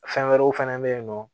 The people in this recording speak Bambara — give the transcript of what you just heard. Fɛn wɛrɛw fɛnɛ bɛ yen nɔ